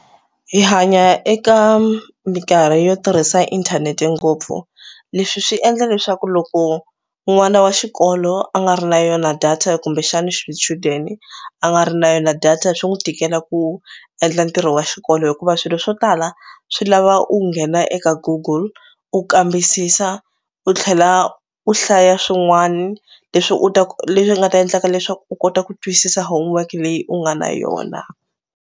Hi hanya eka mikarhi yo tirhisa inthanete ngopfu leswi swi endla leswaku loko n'wana wa xikolo a nga ri na yona data kumbexana xichudeni a nga ri na yona data swi n'wi tikela ku endla ntirho wa xikolo hikuva swilo swo tala swi lava u nghena eka Goggle u kambisisa u tlhela u hlaya swin'wana leswi u leswi nga ta endlaka leswaku u kota ku twisisa homework leyi u nga na yona.